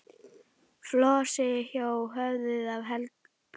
Flosi hjó höfuðið af Helga.